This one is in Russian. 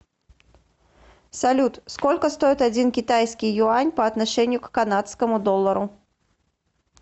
салют сколько стоит один китайский юань по отношению к канадскому доллару